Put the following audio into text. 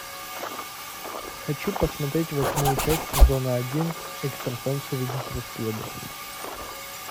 хочу посмотреть восьмую часть сезона один экстрасенсы ведут расследование